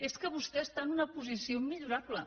és que vostè està en una posició immillorable